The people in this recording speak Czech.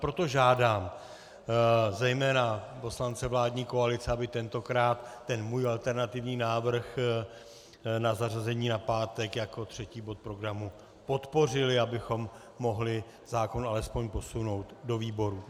Proto žádám zejména poslance vládní koalice, aby tentokrát ten můj alternativní návrh na zařazení na pátek jako třetí bod programu podpořili, abychom mohli zákon alespoň posunout do výborů.